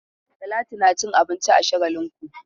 Talatu na cin abinci a Shagalinku.